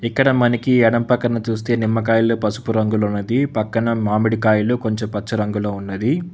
ఇక్కడ మనకి ఎడం పక్కన చూస్తే నిమ్మకాయల్లో పసుపు రంగులో ఉన్నది పక్కన మామిడికాయలు కొంచెం పచ్చ రంగులో ఉన్నది.